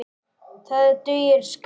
Það dugir skammt.